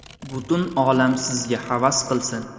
Butun olam sizga havas qilsin!